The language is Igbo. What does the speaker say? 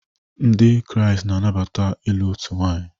Ndị Kraịst na-anabata ịlụ otu nwanyị